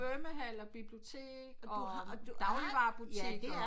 Svømmehal og bibliotek og dagligvarerbutikker